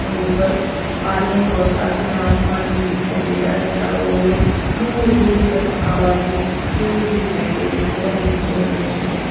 ऊपर पानी और साथ में आसमान भी दिखाई दे रहा है चारों ओर दूर दूर तक आबादी दूर दिखाई दे रही है बहोत सुंदर दृश्य है।